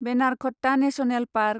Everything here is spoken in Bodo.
Bannerghatta national park